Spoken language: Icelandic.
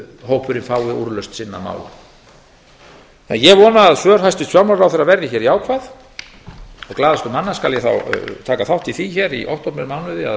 hópurinn fái úrlausn sinna mála en ég vona að svör hæstvirts fjármálaráðherra verði jákvæð og glaðastur manna skal ég þá taka þátt í því í októbermánuði að